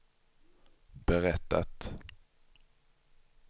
berättat